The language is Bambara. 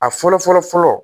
A fɔlɔ fɔlɔ fɔlɔ